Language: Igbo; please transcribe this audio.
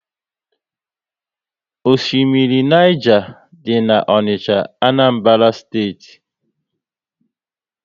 Oshimmiri Niger dị n'Onicha, Anambra Steeti